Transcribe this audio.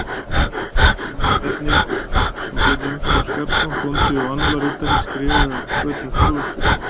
Ólafi Bjarnyl, sem Björn Jónsson á Skarðsá, bóndi og annálaritari, skrifaði af hvötum Þorláks biskups.